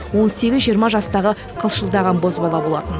он сегіз жиырма жастағы қылшылдаған бозбала болатын